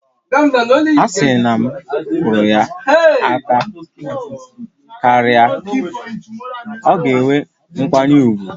A sị na m kụrụ ya aka karịa, ọ ga-enwe nkwanye ùgwù